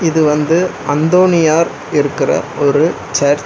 இது வந்து அந்தோனியார் இருக்கற ஒரு சர்ச் .